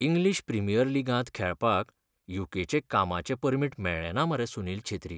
English Premier लीगांत खेळपाक U. K. चें कामाचें परमीट मेळ्ळें ना मरे सुनील छेत्रीक.